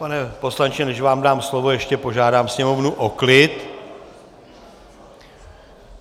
Pane poslanče, než vám dám slovo, ještě požádám sněmovnu o klid.